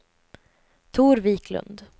Tor Wiklund